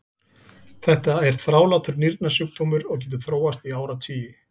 Þetta er þrálátur nýrnasjúkdómur og getur þróast í áratugi.